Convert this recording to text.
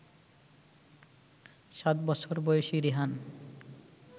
সাত বছর বয়সী রিহান